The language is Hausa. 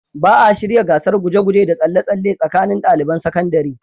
Ba a shirya gasar guje-guje da tsalle-tsalle tsakanin daliban sakandare.